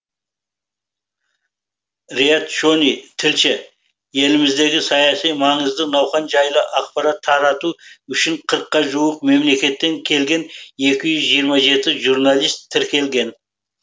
риат шони тілші еліміздегі саяси маңызды науқан жайлы ақпарат тарату үшін қырыққа жуық мемлекеттен келген екі жүз жиырма жеті журналист тіркелген